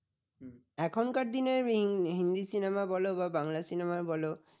এখনকার দিনে হিন্দি cinema য় বলো বা বাংলা cinema য় বল